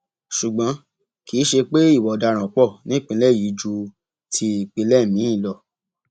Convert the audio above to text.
ṣùgbọn kì í ṣe pé ìwà ọdaràn pọ nípìnlẹ yìí ju ti ìpínlẹ míín lọ